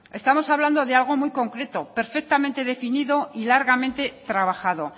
estamos hablando de algo muy concreto perfectamente definido y largamente trabajado